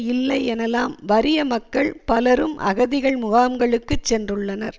இல்லை எனலாம் வறிய மக்கள் பலரும் அகதிகள் முகாம்களுக்குச் சென்றுள்ளனர்